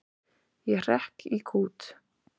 Ég hrekk í kút.